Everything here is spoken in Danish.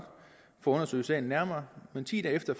undersøge sagen nærmere men ti dage efter